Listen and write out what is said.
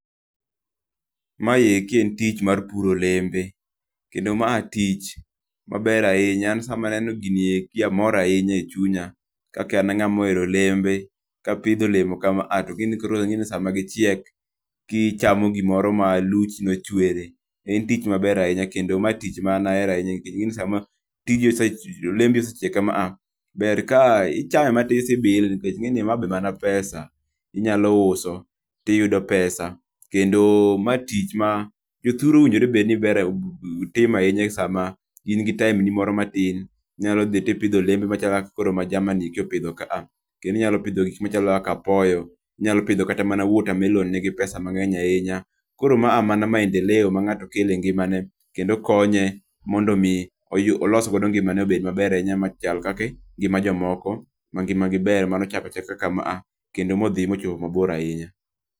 Ma eki en tich mar puro olembe, kendo ma tich ma ber ahinya, kendo an sa ma neno gini eki to amor e chunya .Kaka an ang'a ma ohero olembe, ka apidho olemo ka ma to inge ni sa ma koro gi chiek ki ichamo gi moro ma luchi ochwere, en tich maber ahinya kendo ma tich ma an ahero ahinya ti ing'e ni sa ma tijni osechiek olembi osechiek ka ma ber ka ikawe ma ti ti ibile nikech ing'e ni ma be mana pesa inyakawo ti idhi uso ti iyudo pesa kendo ma tich ma jothuru owinjre ber ni bere timo ahinya e sa ma in gi time ni moro matin, inyalo dhi ti ipidho olembe machalo ka ma kaka jama ni koro pidho kaa. Koro inyalo pidho gik machalo kaka apoyo ,inyalo pidho kata mana watermelon ni gi pesa mang'eny ahinya. Koro ma mana maendeleo ma ng'ato kelo e ngima ne kendo lkonye mondo mi olos godo ngima ne mondo obed ma ber ahinya machal kaka jo moko ma ngima gi ber mano ochaka chaka ka ma kendo ma odhi ma ocho ma bor ahinya.